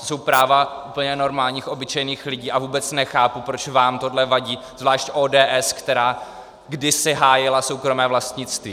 To jsou práva úplně normálních obyčejných lidí a vůbec nechápu, proč vám tohle vadí, zvlášť ODS, která kdysi hájila soukromé vlastnictví.